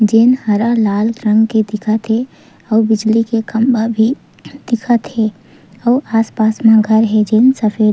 जेन हरा लाल रंग के दिखत हे आऊ बिजली के खम्बा भी दिखत हे आऊ आस-पास में घर हे जेन सफ़ेद--